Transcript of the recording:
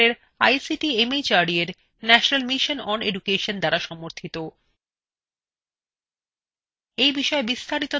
যা ভারত সরকারের ict mhrd এর national mission on education দ্বারা সমর্থিত